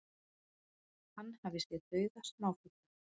Hann hafi séð dauða smáfugla